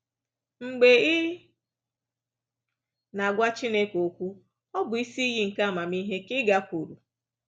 Mgbe ị na-agwa Chineke okwu, ọ bụ isi iyi nke amamihe ka ị gakwuuru.